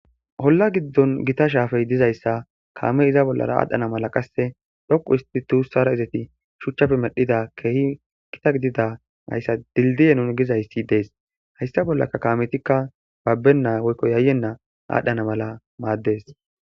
Oolla giddon gita shappay dizayssi kaamey iza bollara adhdhana mala dhoqqu hista izetti shuuchchara medhida gita gidida hayssa dildiye nu gizayssi des haYssa bollara kaametikka yayena woykko babenna adhana mal mades